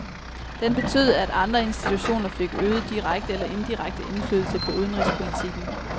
Den betød, at andre institutioner fik øget direkte eller indirekte indflydelse på udenrigspolitikken.